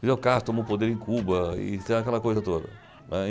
Fidel Castro tomou o poder em Cuba e aquela coisa toda.